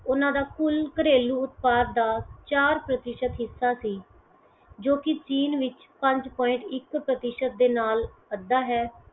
ਉਹਨਾ ਦਾ ਕੁੱਲ ਘਰੇਲੂ ਉਤਪਾਦ ਦਾ ਚਾਰ ਪ੍ਰਤੀਸ਼ਤ ਹਿੱਸਾ ਸੀ ਜੋ ਕਿ ਚੀਨ ਵਿਚ ਪੰਜ points ਇੱਕ ਪ੍ਰਤੀਸ਼ਤ ਦੇ ਨਾਲ ਅੱਧਾ ਹੈ